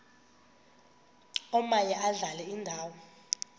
omaye adlale indawo